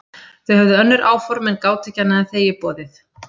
Þau höfðu önnur áform en gátu ekki annað en þegið boðið.